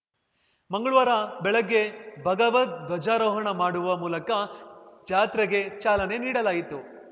ಮಂಗ್ಳವಾರ ಬೆಳಗ್ಗೆ ಭಗವದ್‌ಧ್ವಜಾರೋಹಣ ಮಾಡುವ ಮೂಲಕ ಜಾತ್ರೆಗೆ ಚಾಲನೆ ನೀಡಲಾಯಿತು